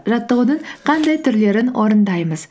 жаттығудың қандай түрлерін орындаймыз